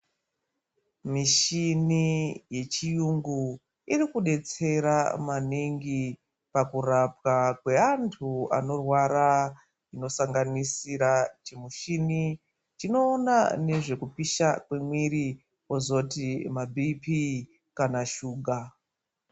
Mishini yechiyungu irikudetsera maningi pakurapwa kwe vantu vanorwara inosanganisira chimushini chinoona nezvekupisha kwemuviri, kozoti ma Bhiipii kana shuga.